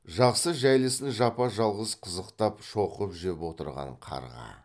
жақсы жәйлісін жапа жалғыз қызықтап шоқып жеп отырған қарға